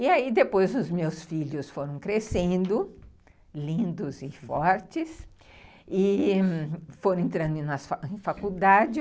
E aí depois os meus filhos foram crescendo, lindos e fortes, e foram entrando em faculdade.